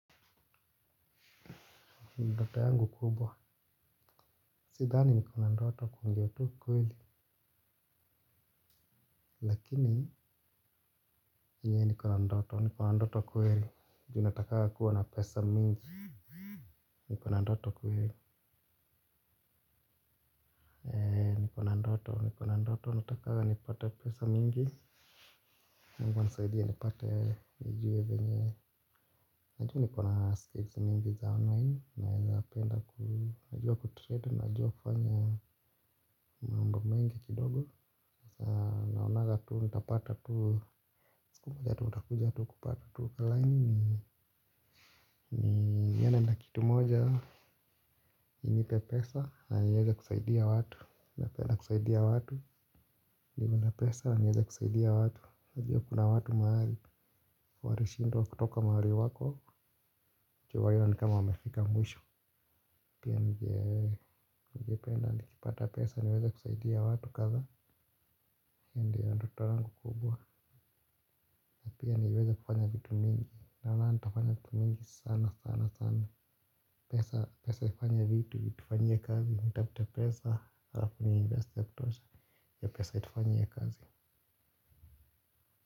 Ndoto yangu kubwa. Sidhani niko na ndoto kuongea tu ukweli. Lakini enyewe niko na ndoto niko na ndoto kweli. Ju natakanga kuwa na pesa mingi. Nikona ndoto kuweli. Niko na ndoto niko na ndoto. Natakanga nipate pesa mingi Mungu anasaidia nipate nijue venye najua niko na skills mingi za online. Naezapenda najua kutrade. Najua kufanya mambo mengi kidogo. Naonanga tu nitapata tu. Siku moja tu nitakuja tu kupata tu laini ni yaana nina kitu moja inipe pesa na nieza kusaidia watu napenda kusaidia watu. Niwe na pesa nieza kusaidia watu. Unajua kuna watu mahali walishindwaa kutoka mahali wako. Ju wao ni kama wamefika mwisho. Pia ningependa nikipata pesa niweza kusaidia watu kadhaa. Hio ndio ndoto yangu kubwa. Pia niweza kufanya vitu mingi. Naonanga nitafanya vitu mingi sana sana sana. Pesa itufanya vitu itufanyie kazi nitafute pesa alafu ni invest vya kutosha hiyo pesa itufanyie kazi.